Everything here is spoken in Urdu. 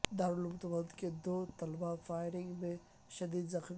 دارالعلوم دیوبند کے دو طلبا فائرنگ میں شدید زخمی